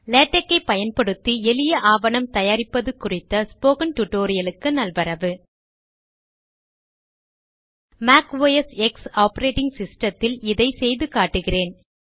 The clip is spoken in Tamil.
லேடக் ஐ பயன்படுத்தி எளிய ஆவணம் தயாரிப்பது குறித்த ஸ்போக்கன் டுடோரியலுக்கு நல்வரவு மேக் ஓஎஸ் எக்ஸ் ஆபரேடிங் சிஸ்டத்தில் இதை செய்து காட்டுகிறேன்